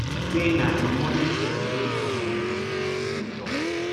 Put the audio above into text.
say na [a money trail] wey goment need to see im tok